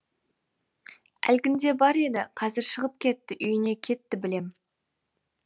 әлгінде бар еді қазір шығып кетті үйіне кетті білем